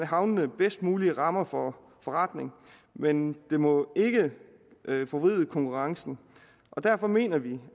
havnene bedst mulige rammer for forretning men det må ikke forvride konkurrencen derfor mener vi